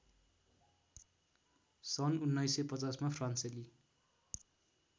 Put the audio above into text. सन् १९५० मा फ्रान्सेली